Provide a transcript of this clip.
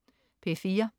P4: